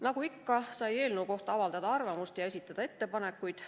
Nagu ikka, sai eelnõu kohta avaldada arvamust ja esitada ettepanekuid.